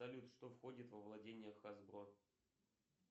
салют что входит во владения хасбро